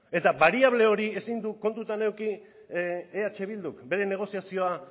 eta bariable hori ezin du kontutan eduki eh bilduk bere negoziazioa